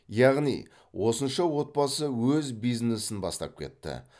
яғни осынша отбасы өз бизнесін бастап кетті